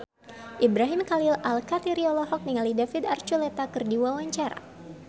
Ibrahim Khalil Alkatiri olohok ningali David Archuletta keur diwawancara